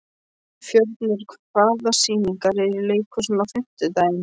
Fjörnir, hvaða sýningar eru í leikhúsinu á fimmtudaginn?